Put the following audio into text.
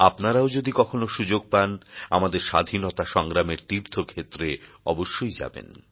আপনারাও যদি কখনও সুযোগ পান আমাদের স্বাধীনতা সংগ্রামের তীর্থক্ষেত্রে অবশ্যই যাবেন